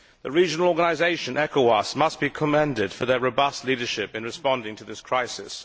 The regional organisation ECOWAS must be commended for its robust leadership in responding to this crisis.